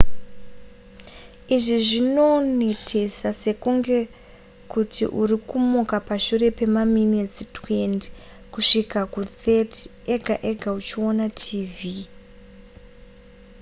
izvi zvinonetesa sekunge kuti uri kumuka pashure pemaminitsi 20 kusvika ku30 ega ega uchiona tv